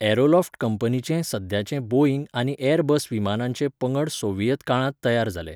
Aeroflot कंपनीचें सद्याचें Boeing आनी एअरबस विमानांचे पंगड सोव्हिएत काळांत तयार जाले.